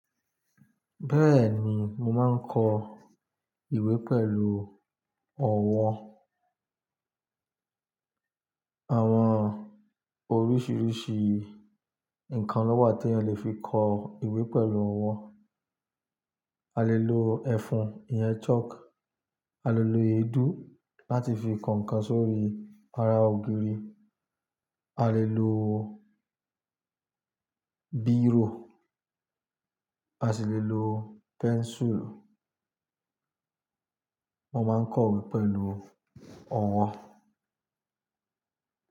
Bẹ́ẹ̀ni, mo máa ń kọ ìwé pẹ̀lú ọ̀wọ́. Àwọn oríṣiríṣi nǹkan ló wà tí eyan lè fi kọ ìwé pẹ̀lú ọwọ́. A lè lo ẹfun ìyẹn chalk, a lè lo èédú láti fi kọ ǹkan sórí ara ògiri, a lè lo bírò, a sì lè lo pencil. Mo máa ń kọ ìwé pẹ̀lú ọ̀wọ́